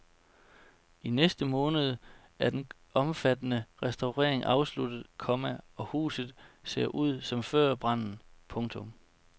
I næste måned er den omfattende restaurering afsluttet, komma og huset ser igen ud som før branden. punktum